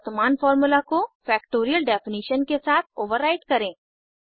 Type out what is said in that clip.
और वर्तमान फार्मूला को फैक्टोरियल डेफिनिशन के साथ ओवरराईट करें